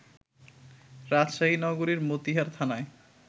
রাজশাহী নগরীর মতিহার থানার